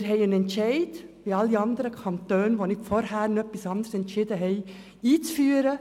Wir haben einen Entscheid einzuführen, wie alle anderen Kantone, die nicht vorher noch etwas anderes entschieden haben.